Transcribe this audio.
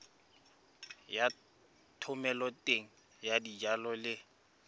ya thomeloteng ya dijalo le